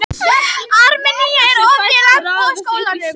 Armenía, er opið í Landbúnaðarháskólanum?